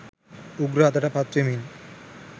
උග්‍ර අතට පත්වෙමින්